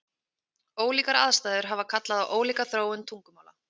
Ólíkar aðstæður hafa kallað á ólíka þróun tungumála.